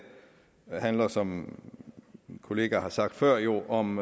handler som mine kollegaer har sagt før jo om